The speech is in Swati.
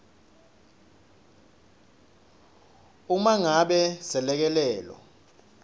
uma ngabe selekelelo